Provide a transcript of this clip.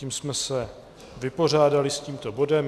Tím jsme se vypořádali s tímto bodem.